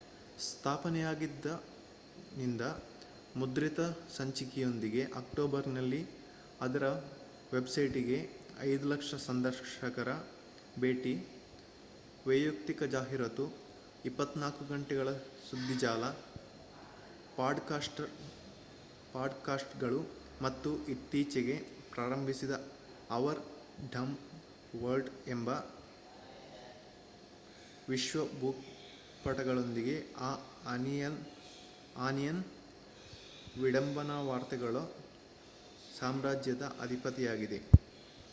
ಸ್ಥಾಪನೆಯಾದಾಗಿನಿಂದ ಮುದ್ರಿತ ಸಂಚಿಕೆಯೊಂದಿಗೆ ಅಕ್ಟೋಬರ್‍‌ನಲ್ಲಿ ಅದರ ವೆಬ್‍‌ಸೈಟ್‍‌ಗೆ 5,000,000 ಸಂದರ್ಶಕರ ಭೇಟಿ ವಯಕ್ತಿಕ ಜಾಹೀರಾತುಗಳು 24 ಗಂಟೆಗಳ ಸುಧ್ದಿಜಾಲ ಪಾಡ್‍‌‍ಕಾಸ್ಟ್‌ಗಳು ಮತ್ತು ಇತ್ತೀಚೆಗೆ ಪ್ರಾರಂಭಿಸಿದ ಅವರ್ ಡಂಬ್ ವರ್ಲ್ಡ್ ಎಂಬ ವಿಶ್ವ ಭೂಪಟಗಳೊಂದಿಗೆ ದ ಆನಿಯನ್ ವಿಡಂಬನಾ ವಾರ್ತೆಗಳ ಸಾಮ್ರಾಜ್ಯದ ಅಧಿಪತಿಯಾಗಿದೆ